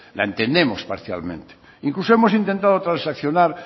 la entendemos parcialmente incluso hemos intentado transaccionar